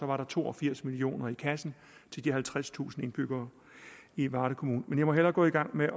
var to og firs million kroner i kassen til de halvtredstusind indbyggere i varde kommune men jeg må hellere gå i gang med